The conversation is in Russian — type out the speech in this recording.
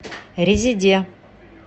резеде